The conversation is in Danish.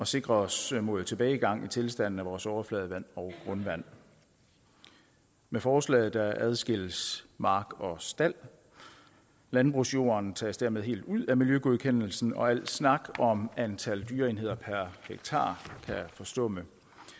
sikre os imod tilbagegang i tilstanden af vores overfladevand og grundvand med forslaget adskilles mark og stald landbrugsjorden tages dermed helt ud af miljøgodkendelsen og al snak om antal dyreenheder per hektar kan forstumme